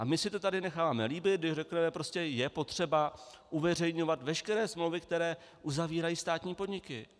A my si to tady necháváme líbit, když řekneme: prostě je potřeba uveřejňovat veškeré smlouvy, které uzavírají státní podniky.